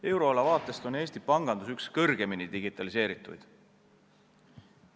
Euroala vaatest on Eesti pangandus üks kõige kõrgemini digitaliseerituid.